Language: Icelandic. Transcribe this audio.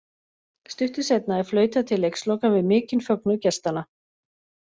Stuttu seinna er flautað til leiksloka við mikinn fögnuð gestanna.